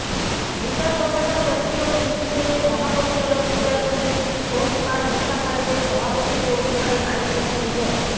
বিচার প্রশাসন প্রশিক্ষণ ইনস্টিটিউটের মহাপরিচালক বিচারপতি খোন্দকার মুসা খালেদের সভাপতিত্ব অনুষ্ঠানে আইন সচিব মো